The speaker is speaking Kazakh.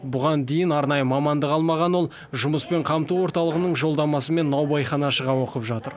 бұған дейін арнайы мамандық алмаған ол жұмыспен қамту орталығының жолдамасымен наубайханашыға оқып жатыр